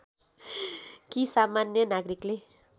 कि सामान्य नागरिकले